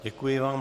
Děkuji vám.